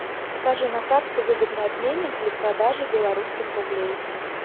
покажи на карте выгодный обменник для продажи белорусских рублей